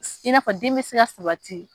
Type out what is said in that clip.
I na fɔ den bɛ se ka sabati.